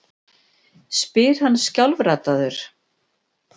spyr hann skjálfraddaður.